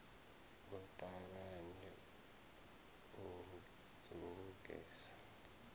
a ṱavhanye a luge sa